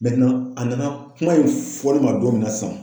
a nana kuma in fɔ ne ma don min na sisan